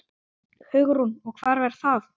Hugrún: Og hvar var það?